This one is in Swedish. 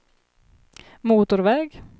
motorväg